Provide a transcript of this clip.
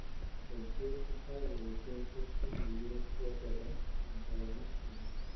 kaingĩ ũkoragwo wĩkĩrĩtwo ciumia igĩrĩ cia mbere thutha wa gũciarũo.